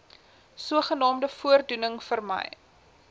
sogenaamde voordoening vermy